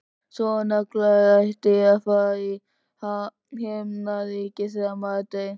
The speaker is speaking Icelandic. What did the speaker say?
Svona gler ætti að vera í Himnaríki þegar maður deyr.